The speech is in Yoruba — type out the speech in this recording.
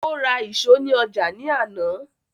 O ra ìṣo ní ọjà ní àná